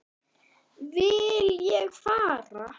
Vil ég fara?